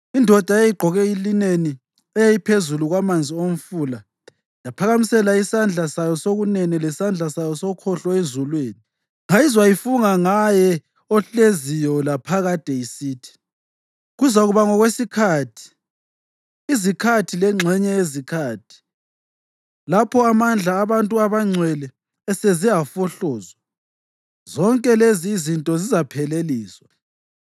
Indoda eyayigqoke ilineni, eyayiphezulu kwamanzi omfula yaphakamisela isandla sayo sokunene lesandla sayo sokhohlo ezulwini, ngayizwa ifunga ngaye ohleziyo laphakade, isithi, “Kuzakuba ngokwesikhathi, izikhathi lengxenye yesikhathi. Lapho amandla abantu abangcwele eseze afohlozwa, zonke lezi izinto zizapheleliswa.”